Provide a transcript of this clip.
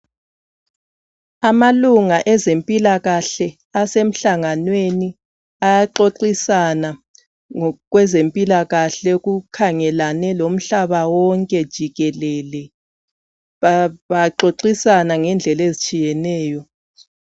Amalunga ezempilakahle, asemhlanganweni. Ayaxoxisana ngokwezempilakahle, ezikhangelane lomhlaba wonke jikelele. Baxoxisana ngendlela ezitshiyeneyo.